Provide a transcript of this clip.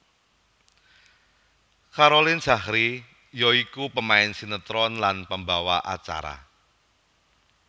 Caroline Zachrie ya iku pemain sinetron lan pembawa acara